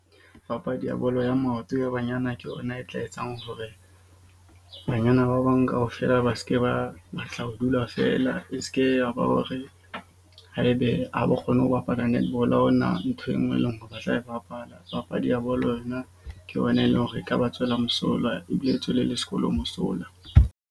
Papadi ya bolo ya maoto ya banyana ke yona e tla etsang hore banyana ba bang kaofela ba ske ba batla ho dula feela. E ske ya ba hore, haebe ha ba kgone ho bapala netball ha hona nthwe e nngwe, e leng hore ba tla e bapala. Papadi ya bolo yona ke yona eleng hore e ka ba tswela mosola ebile e tswele le sekolo mosola.